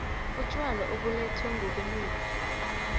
utjwala obulethwe ngobunengi